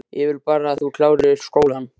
Ég vil bara að þú klárir skólann